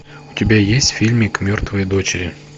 у тебя есть фильмик мертвые дочери